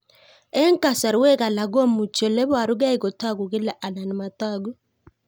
Eng' kasarwek alak komuchi ole parukei kotag'u kila anan matag'u